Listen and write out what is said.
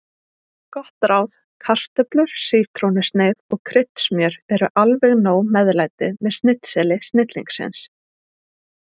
Gott ráð: Kartöflur, sítrónusneið og kryddsmjör eru alveg nóg meðlæti með snitseli snillingsins.